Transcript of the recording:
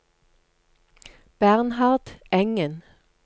Bernhard Engen